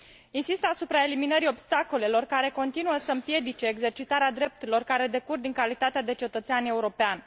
Insist asupra eliminării obstacolelor care continuă să împiedice exercitarea drepturilor care decurg din calitatea de cetățean european.